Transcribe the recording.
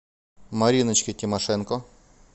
мариночке тимошенко